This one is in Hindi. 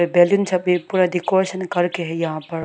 बैलून छपे पूरा डेकोरेशन करके है यहां पर।